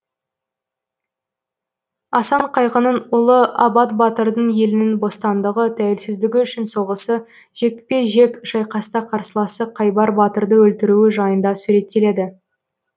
асан қайғының ұлы абат батырдың елінің бостандығы тәуелсіздігі үшін соғысы жекпе жек шайқаста қарсыласы қайбар батырды өлтіруі жайында суреттеледі